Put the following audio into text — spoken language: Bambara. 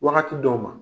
Wagati dɔw ma